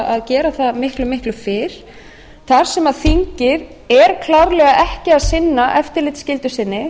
það gera það miklu miklu fyrr þar sem þingið er klárlega ekki að sinna